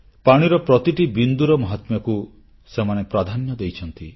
ପାଣିର ପ୍ରତିଟି ବିନ୍ଦୁର ମହାତ୍ମ୍ୟକୁ ସେମାନେ ପ୍ରାଧାନ୍ୟ ଦେଇଛନ୍ତି